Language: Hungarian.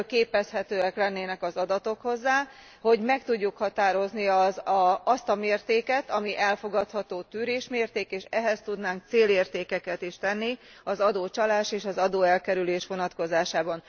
Belőlük képezhetők lennének az adatok ahhoz, hogy meg tudjuk határozni azt a mértéket, amely elfogadható tűrésmérték, és ehhez tudnánk célértékeket is rendelni az adócsalás és az adóelkerülés vonatkozásában.